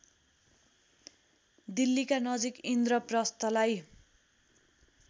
दिल्लीका नजिक इन्द्रप्रस्थलाई